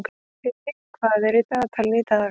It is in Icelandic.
Þyrí, hvað er í dagatalinu í dag?